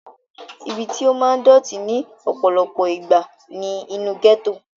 ibi tí ó máa ń dọ̀tí ní ọ̀pọ̀lọpọ̀ ìgbà ni inú gẹ́tò